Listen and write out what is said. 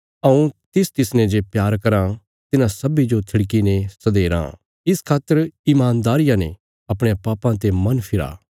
हऊँ तिसतिसने जे प्यार कराँ तिन्हां सब्बीं जो थिड़कीने सधेराँ इस खातर ईमानदारिया ने अपणयां पापां ते मन फिरा